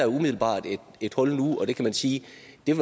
umiddelbart et hul nu og man kan sige